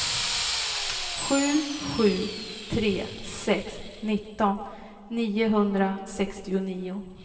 sju sju tre sex nitton niohundrasextionio